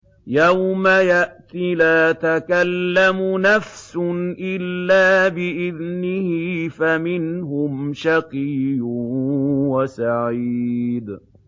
يَوْمَ يَأْتِ لَا تَكَلَّمُ نَفْسٌ إِلَّا بِإِذْنِهِ ۚ فَمِنْهُمْ شَقِيٌّ وَسَعِيدٌ